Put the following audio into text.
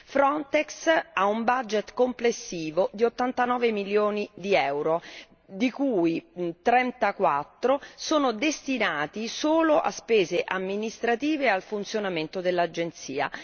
Frontex ha un budget complessivo di 89 milioni di euro, di cui 34 sono destinati solo a spese amministrative e al funzionamento dell'Agenzia.